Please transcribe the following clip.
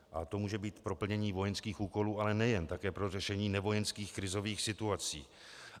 A to může být pro plnění vojenských úkolů, ale nejen, také pro řešení nevojenských krizových situací.